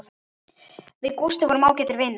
Við Gústi vorum ágætir vinir.